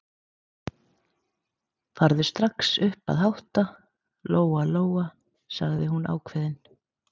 Farðu strax upp að hátta, Lóa Lóa, sagði hún ákveðin.